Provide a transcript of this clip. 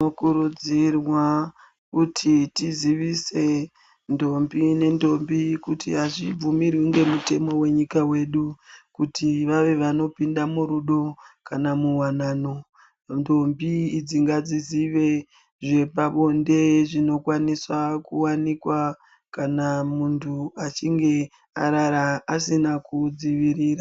Tinokurudzirwa kuti tizivise ndombi nendombi kuti azvibvumirwi nemutemo wenyika wedu kuti vave vanopinda murudo kana muwanano ndombi idzi ngadzizive zvepabonde zvinokwanisa kuwanikwa kana mundu achinge arara asina kudzivirira.